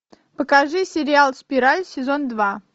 покажи сериал спираль сезон два